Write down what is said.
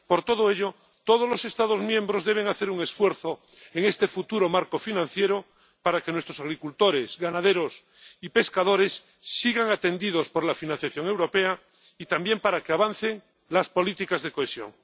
Por todo ello, todos los Estados miembros deben hacer un esfuerzo en este futuro marco financiero, para que nuestros agricultores, ganaderos y pescadores sigan atendidos por la financiación europea y también para que avancen las políticas de cohesión.